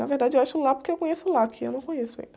Na verdade eu acho lá porque eu conheço lá, aqui eu não conheço ainda.